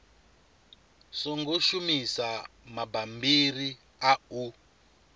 songo shumisa mabammbiri a u